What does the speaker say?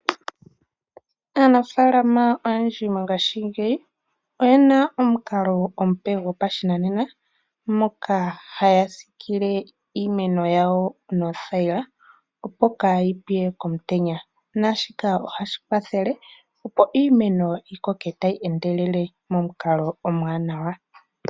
Aanafaalama oyendji mongaashingeyi oyena omukalo omupe gopashinanena moka haya siikile iimeno yawo noothayila opo kaayipye komutenya, naashika ohadhi kwathele opo iimeno yikoke tayi endelele momukalo omuwanawa.